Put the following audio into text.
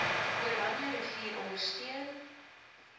oranje rivier ondersteun